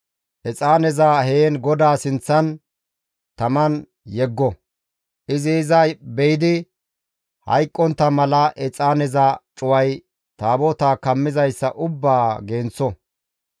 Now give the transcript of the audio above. Exaaneza heen GODAA sinththan taman yeggo; izi iza be7idi hayqqontta mala exaaneza cuway Taabotaa kammizayssa ubbaa genththo.